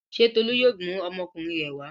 Ṣé Tolú yóò mú ọmọkùnrin rẹ̀ wá?